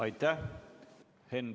Aitäh!